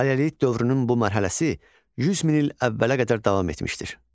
Paleolit dövrünün bu mərhələsi 100 min il əvvələ qədər davam etmişdir.